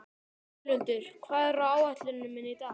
Völundur, hvað er á áætluninni minni í dag?